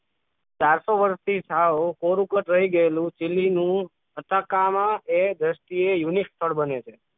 ચારસો વર્ષથી સાવ કોરું કટ રહી ગયેલું ચીલી નું અટકામા એ દૃષ્ટિએ unique સ્થળ બને છે.